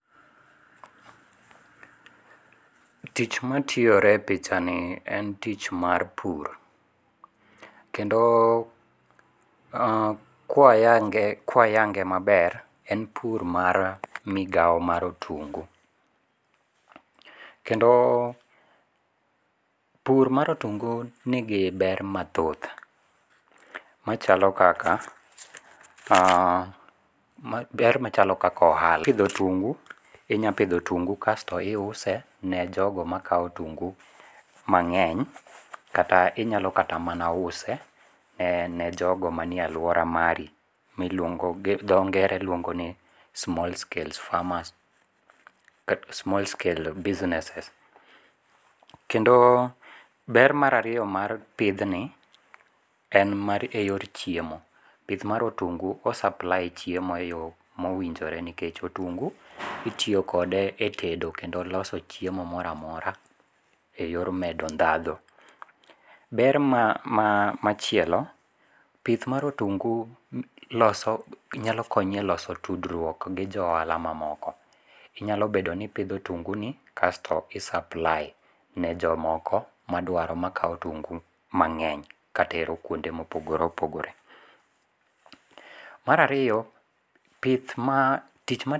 Tich matiyore e pichani en tich mar pur, kendo kwayange' kwayange' maber en pur mar migawo mar otungu, kendo pur ma otungu nigi ber mathoth, machalo kaka haa ber machalo kaka ohala kipitho otungu inyalo pitho otungu kasto iuse ne jogo makau otungu mange'ny kata inyalo kata mana use ne jogo manie aluora mari miluongo' gi dho nge're iluongo ni small scale farmers kata small scale businesses. Kendo ber mar ariyo mar pithni en mar e yor chiemo, pith ma otungu en o supply chiemo e yo mowinjore nikech otungu itiyo kode e tedo kendo loso chiemo mora mora e yor medo dhadho. Ber machielo pith mar otungu loso nyalo konyi e loso tudruok gi jo ohala mamoko inyalo bedo ni ipitho otunguni kasto i supply ne jomoko madwaro makawo otungu mange'ny katero kuonde ma opogore opogore. Mar ariyo pith ma